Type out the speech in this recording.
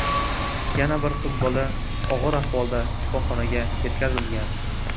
Yana bir qiz bola og‘ir ahvolda shifoxonaga yetkazilgan.